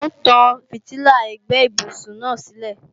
N ó tán fìtílà ẹ̀gbẹ́ ibùsùn náà sílẹ̀